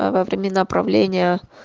аа во времена правления